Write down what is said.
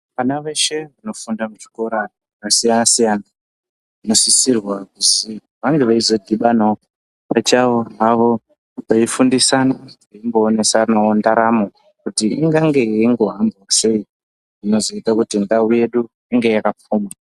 Vana veshe vanofunda muzvikora zvakasiyana siyana vanosisirwa kuzwi vange veizo dhibanawo pachavo havo veifundisana veimboonesawo ndaramo kuti ingange yeimbohambawo sei zvinozoite kuti ndau yedu inge yakapfuma.